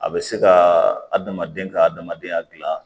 A bɛ se ka adamaden ka adamadenya dilan